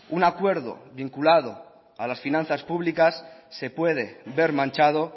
un acuerdo vinculado a las finanzas públicas se puede ver manchado